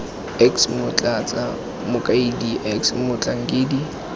x motlatsa mokaedi x motlhankedi